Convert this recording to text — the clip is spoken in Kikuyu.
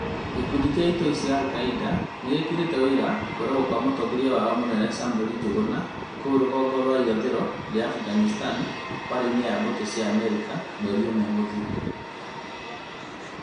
Gĩkundi kĩa itoi cia Al-Qaeda, nĩgĩkĩrĩte ũira kũragwo gwa mũtongoria wao mũnene Samuel Njuguna kũu rũgongo rwa irathĩro rĩa Afghanistan mbara-inĩ na mbũtũ cia Amerika mweri ũmwe mũthiru